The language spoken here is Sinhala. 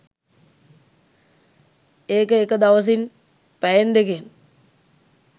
ඒක එක දවසින් පැයෙන් දෙකෙන්